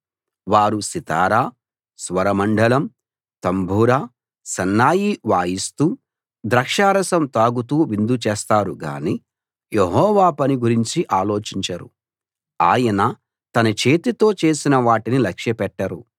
వారు సితారా స్వరమండలం తంబుర సన్నాయి వాయిస్తూ ద్రాక్షారసం తాగుతూ విందు చేస్తారు గానీ యెహోవా పని గురించి ఆలోచించరు ఆయన తన చేతితో చేసిన వాటిని లక్ష్యపెట్టరు